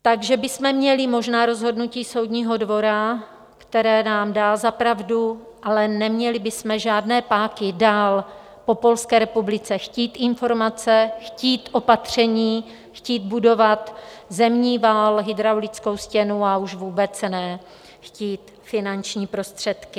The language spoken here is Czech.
Takže bychom měli možná rozhodnutí Soudního dvora, které nám dá za pravdu, ale neměli bychom žádné páky dál po Polské republice chtít informace, chtít opatření, chtít budovat zemní val, hydraulickou stěnu, a už vůbec ne chtít finanční prostředky.